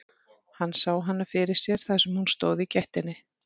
Hann sá hana fyrir sér þar sem hún stóð í gættinni.